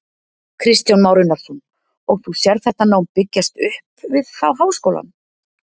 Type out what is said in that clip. Kristján Már Unnarsson: Og þú sérð þetta nám byggjast upp við þá háskólann?